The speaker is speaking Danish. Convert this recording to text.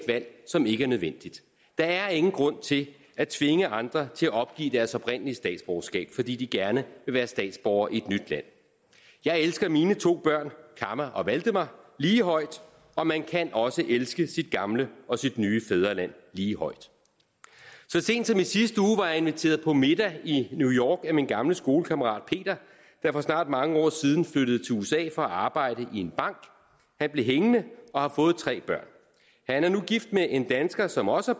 valg som ikke er nødvendigt der er ingen grund til at tvinge andre til at opgive deres oprindelige statsborgerskab fordi de gerne vil være statsborgere i et nyt land jeg elsker mine to børn kamma og valdemar lige højt og man kan også elske sit gamle og sit nye fædreland lige højt så sent som i sidste uge var jeg inviteret på middag i new york af min gamle skolekammerat peter der for snart mange år siden flyttede til usa for at arbejde i en bank han blev hængende og har fået tre børn han er nu gift med en dansker som også